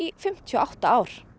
fimmtíu og átta ár